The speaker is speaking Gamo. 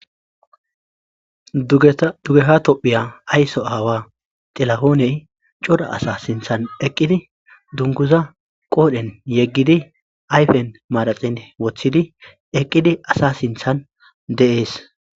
dugeha tophiya ayso aawa xilahooney cora asa sinthan eqqidi dunguza qoodhen yeggidi ayfen maraxin wothidi eqqidi asa sinthan de7ees